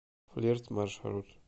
флирт маршрут